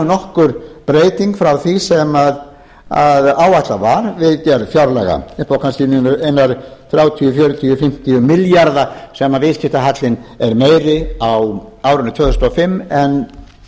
nokkur breyting frá því sem áætlað var við gerð fjárlaga upp á kannski eina þrjátíu fjörutíu fimmtíu milljarða sem viðskiptahallinn er meiri á árinu tvö þúsund og fimm en